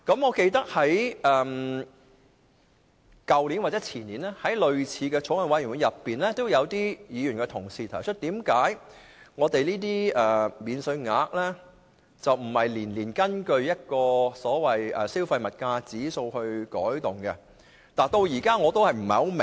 我記得在去年或前年，在類似的法案委員會中，有議員問及這些免稅額為何不每年按消費物價指數予以調整。